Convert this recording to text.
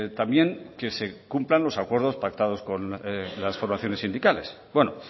también que se cumplan los acuerdos pactados con las formaciones sindicales bueno